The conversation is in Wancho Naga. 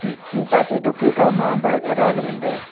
mihpa chi tokphai kao bike ada le ngan taiga.